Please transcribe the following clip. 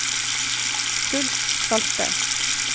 Truls Salte